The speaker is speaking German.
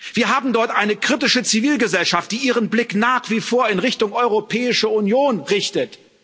Wir haben dort eine kritische Zivilgesellschaft, die ihren Blick nach wie vor in Richtung Europäische Union richtet.